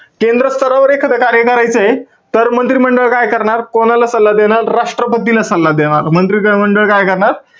केंद्र स्तरावर एखाद कार्य करायचंय. तर मंत्रिमंडळ काय करणार? कोणाला सल्ला देणार? राष्ट्रपतीला सल्ला देणार. मंत्रिमंडळ काय करणार?